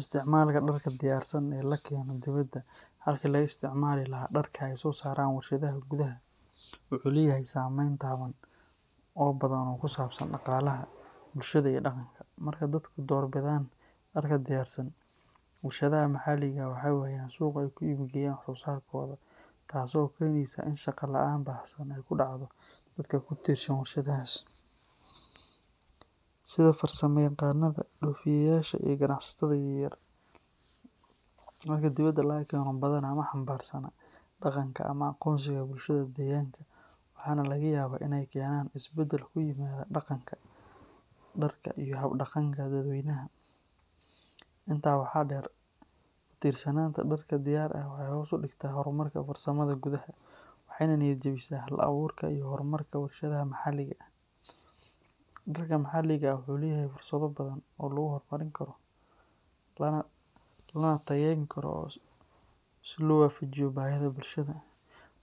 Isticmaalka dharka diyaarsan ee la keeno dibadda halkii laga isticmaali lahaa dharka ay soo saaraan warshadaha gudaha wuxuu leeyahay saameyn taban oo badan oo ku saabsan dhaqaalaha, bulshada iyo dhaqanka. Marka dadku door bidaan dharka diyaarsan, warshadaha maxaliga ah waxay waayaan suuq ay ku iibgeeyaan wax-soo-saarkooda, taasoo keeneysa in shaqo la’aan baahsan ay ku dhacdo dadka ku tiirsan warshadahaas, sida farsamayaqaannada, dhoofiyeyaasha iyo ganacsatada yaryar. Dharka dibadda laga keeno badanaa ma xambaarsana dhaqanka ama aqoonsiga bulshada deegaanka, waxaana laga yaabaa in ay keenaan isbeddel ku yimaada dhaqanka dharka iyo hab-dhaqanka dadweynaha. Intaa waxaa dheer, ku tiirsanaanta dharka diyaar ah waxay hoos u dhigtaa horumarka farsamada gudaha, waxayna niyad-jebisaa hal-abuurka iyo horumarka warshadaha maxalliga ah. Dharka maxalliga ah wuxuu leeyahay fursado badan oo lagu horumarin karo, lana tayayn karo si loo waafajiyo baahida bulshada,